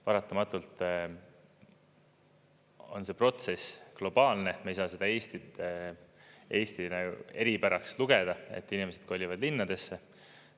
Paratamatult on see protsess globaalne, me ei saa seda Eesti eripäraks lugeda, et inimesed kolivad linnadesse.